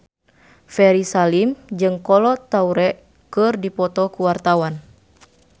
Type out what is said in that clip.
Ferry Salim jeung Kolo Taure keur dipoto ku wartawan